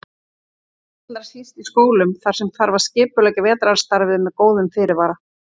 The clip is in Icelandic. Allra síst í skólum þar sem þarf að skipuleggja vetrarstarfið með góðum fyrirvara.